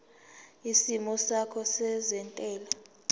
isimo sakho sezentela